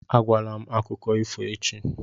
Agwala m akụkọ ifo echi!